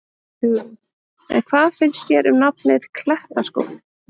Hugrún: En hvað finnst þér um nafnið, Klettaskóli?